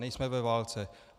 Nejsme ve válce.